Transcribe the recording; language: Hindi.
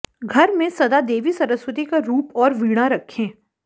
घर में सदा देवी सरस्वती का रूप और वीणा रखें